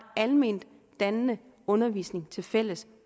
alment dannende undervisning tilfælles